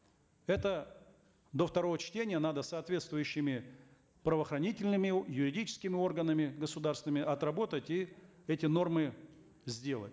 это до второго чтения надо соответствующими правоохранительными юридическими органами государственными отработать и эти нормы сделать